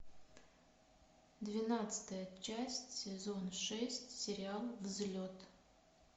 двенадцатая часть сезон шесть сериал взлет